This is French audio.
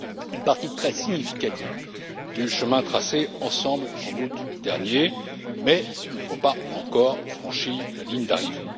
une partie très significative du chemin tracé ensemble en août dernier, mais nous n'avons pas encore franchi la ligne d'arrivée.